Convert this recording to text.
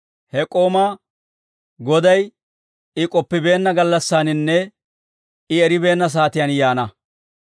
he k'oomaa goday I k'oppibeenna gallassaaninne I eribeenna saatiyaan yaana.